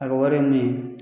A ka wari ye min ye